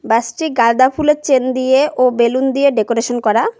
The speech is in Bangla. বাস টি গাঁদা ফুলের চেন দিয়ে ও বেলুন দিয়ে ডেকোরেশন করা।